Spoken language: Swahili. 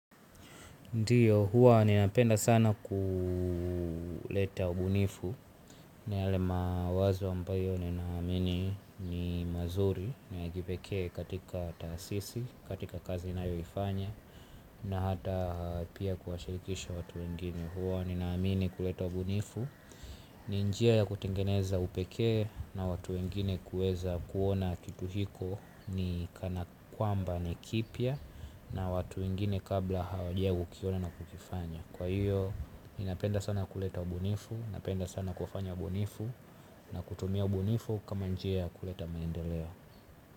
Ndiyo, huwa ni napenda sana kuleta ubunifu. Na yale mawazo ambayo ni naamini ni mazuri na ya kipekee katika taasisi, katika kazi nayoifanya. Na hata pia kuwashirikisha watu wengine huwa ni naamini kuleta ubunifu. Ninjia ya kutengeneza upekee na watu wengine kuweza kuona kitu hiko. Ni kana kwamba ni kipia. Na watu wengine kabla hawaja kukiona na kukifanya. Kwa hiyo, ni napenda sana kuleta ubunifu. Napenda sana kufanya ubunifu. Na kutumia ubunifu kama njia ya kuleta maendeleo.